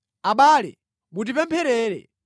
Abale, mutipempherere.